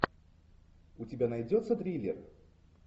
у тебя найдется триллер